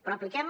però apliquem